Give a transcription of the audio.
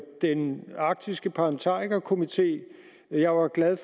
den arktiske parlamentarikerkomité jeg var glad